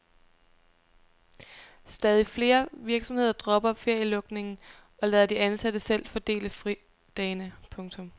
Stadig flere virksomheder dropper ferielukningen og lader de ansatte selv fordele fridagene. punktum